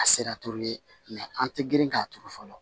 A sera ye an tɛ girin k'a turu fɔlɔ